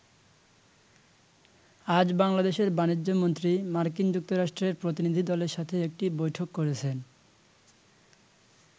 আজ বাংলাদেশের বাণিজ্যমন্ত্রী, মার্কিন যুক্তরাষ্ট্রের প্রতিনিধিদলের সাথে একটি বৈঠক করেছেন।